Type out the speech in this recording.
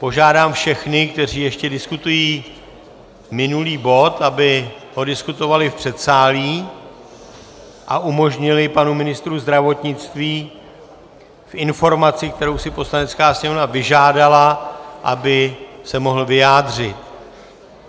Požádám všechny, kteří ještě diskutují minulý bod, aby ho diskutovali v předsálí a umožnili panu ministru zdravotnictví v informací, kterou si Poslanecká sněmovna vyžádala, aby se mohl vyjádřit.